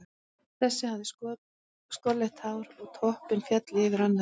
Þessi hafði skolleitt hár og topp sem féll yfir annað augað.